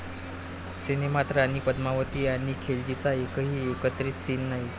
सिनेमात राणी पद्मावती आणि खिलजीचा एकही एकत्रित सीन नाही!